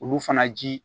Olu fana ji